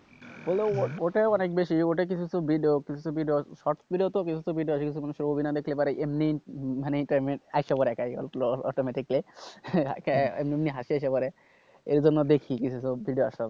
হলেও ওটা অনেক বেশি ওটাতে কিছু video কিছু short video আছে সেগুলো না দেখলে এমনি মানে এই টাইমের হেসে পড়বে automatically এমনি এমনি হেসে পরে এইজন্য দেখি